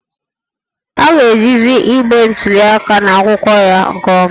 A ga-ejizi igbe ntuli aka na akwụkwọ ya nke ọma